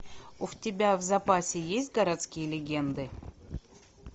у тебя в запасе есть городские легенды